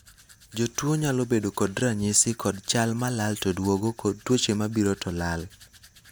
jotuo nyalo bedo kod ranyisi kod chal malal to duogo kod tuoche mabiro to lal